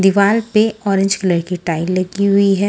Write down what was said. दिवार पे orange colour की टाइल लगी हुई है।